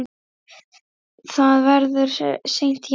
Það verður seint jafnað.